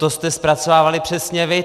To jste zpracovávali přesně vy!